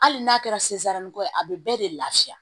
Hali n'a kɛra ko ye a be bɛɛ de lafiya